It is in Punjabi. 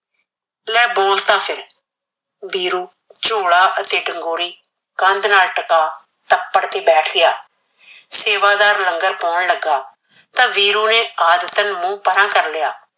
ਲੈ ਬੋਲ ਤਾ ਫਿਰ। ਵੀਰੂ ਝੋਲਾ ਅਤੇ ਡਗੋਰੀ ਕੰਧ ਨਾਲ ਟਕਾ ਤਪੜ ਕੇ ਬੈਠ ਗਿਆ। ਸੇਵਾਦਾਰ ਲੰਗਰ ਪਾਣ ਲੱਗਾ ਤਾਂ ਵੀਰੂ ਨੇ ਆਦਤਨ ਮੂੰਹ ਪਰਾਂ ਕਰ ਲਿਆ।